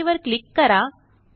okay वरक्लिक करा